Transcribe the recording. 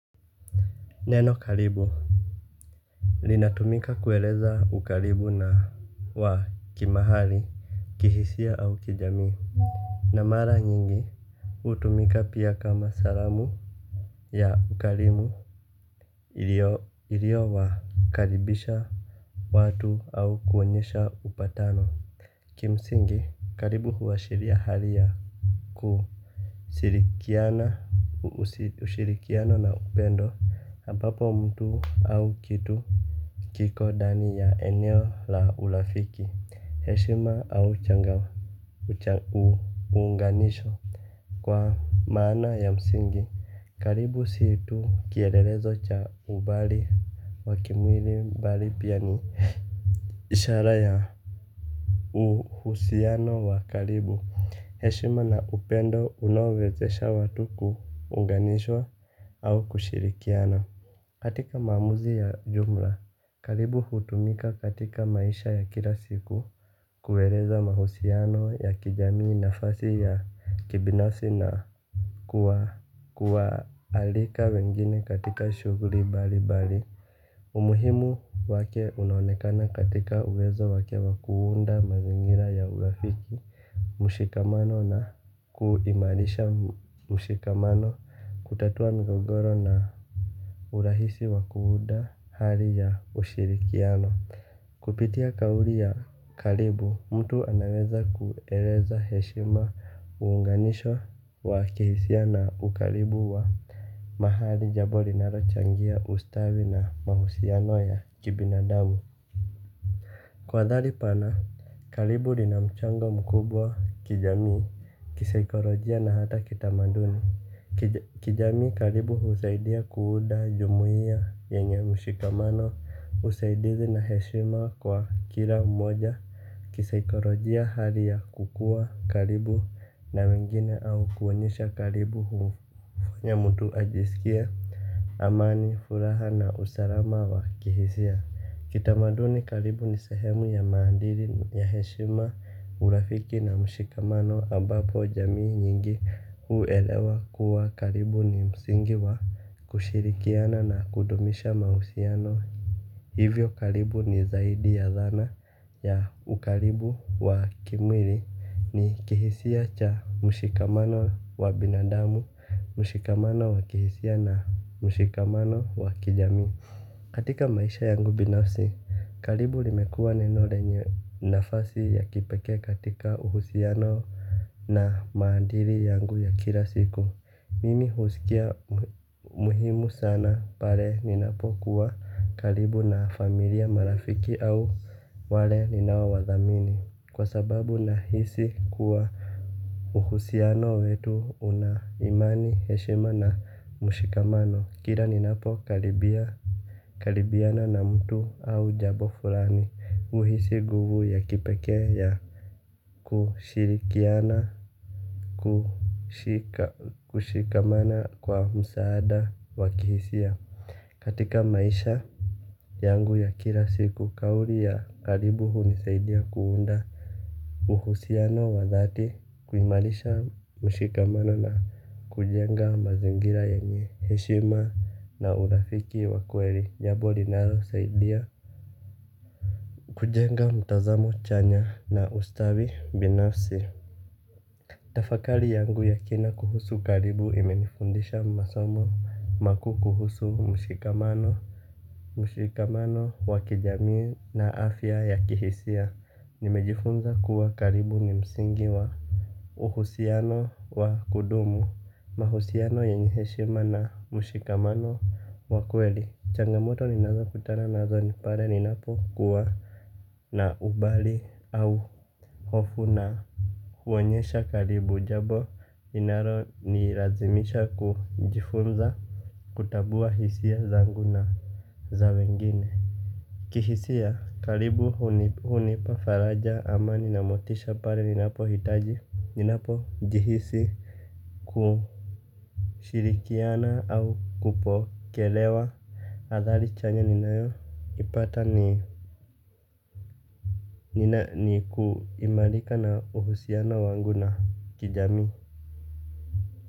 Neno karibu linatumika kueleza ukaribu na wa kimahali kihisia au kijamii na mara nyingi utumika pia kama salamu ya ukalimu. Ilio ilio wakaribisha watu au kuonyesha upatano. Kimsingi karibu huwashiria hali ya ku shirikiana ushirikiano na upendo ambapo mtu au kitu kiko ndani ya eneo la urafiki, heshima au unganisho. Kwa maana ya msingi, karibu sii tu kielelezo cha umbali wa kimwili mbali pia ni ishara ya uhusiano wa karibu. Heshima na upendo unawezesha watu kuunganishwa au kushirikiana. Katika maamuzi ya jumla, karibu hutumika katika maisha ya kila siku kueleza mahusiano ya kijamii nafasi ya kibinafsi na kuwa kuwa alika wengine katika shughuli mbalimbali. Umuhimu wake unaonekana katika uwezo wake wa kuunda mazingira ya urafiki. Mshikamano na kuimarisha mshikamano kutatua ngogoro na urahisi wa kuuuda hali ya ushirikiano. Kupitia kauli ya karibu, mtu anaweza kueleza heshima uunganisho wa kihisia na ukaribu wa mahali jambo linachangia ustawi na mahusiano ya kibinadamu. Kwa dhali pana, karibu linamchango mkubwa kijamii kisaikolojia na hata kitamaduni. Kijamii karibu husaidia kuunda jumuia yenye mshikamano usaidizi na heshima kwa kila mmoja. Kisaikolojia hali ya kukuwa karibu na wengine au kuonyesha karibu huu ya mtu ajisikie amani furaha na usalama wa kihisia kitamaduni karibu ni sehemu ya maadili ya heshima urafiki na mshikamano ambapo jamii nyingi huelewa kuwa karibu ni msingi wa kushirikiana na kudumisha mahusiano hivyo karibu ni zaidi ya dhana ya ukaribu wa kimwili ni kihisia cha mshikamano wa binadamu mshikamano wa kihisia na mshikamano wa kijamii. Katika maisha yangu binafsi, karibu limekua neno lenye nafasi ya kipekee katika uhusiano na maadili yangu ya kila siku. Mimi husikia muhimu sana pale ninapokuwa karibu na familia marafiki au wale ninaowathamini. Kwa sababu nahisi kuwa uhusiano wetu una imani, heshima na mshikamano. Kila ninapo karibia karibiana na mtu au jambo fulani uhisi nguvu ya kipekee ya Kushirikiana Kushika Kushikamana kwa msaada wa kihisia. Katika maisha yangu ya kila siku kauli ya karibu hunisaidia kuunda uhusiano wa dhati kuimarisha mshikamano na kujenga mazingira yenye heshima na urafiki wa kweli. Jambo linao saidia kujenga mtazamo chanya na ustawi binafsi. Tafakari yangu ya kina kuhusu karibu imenifundisha masomo makuu kuhusu mshikamano. Mshikamano wa kijamii na afya ya kihisia. Nimejifunza kuwa karibu ni msingi wa uhusiano wa kudumu. Mahusiano yenye heshima na mshikamano wa kweli. Changamoto ninazo kutana nazo ni pale ninapo kuwa na umbali au hofu na huonyesha karibu jambo inalo nilazimisha kujifunza kutambua hisia zangu na za wengine. Kihisia karibu hunipa faraja ama ninamotisha pale ninapo hitaji ninapo jihisi kushirikiana au kupokelewa. Adhari chanya ninayo ipata ni nina niku imarika na uhusiano wangu na kijamii.